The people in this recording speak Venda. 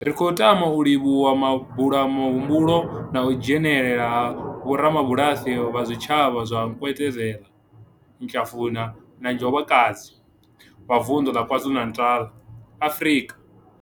Ri khou tama u livhuwa mabula muhumbulo na u dzhenela ha vhorabulasi vha zwitshavha zwa Nkwezela, Hlafuna na Njobokazi, Bulwer, vha Vundu la KwaZulu-Natal, Afrika.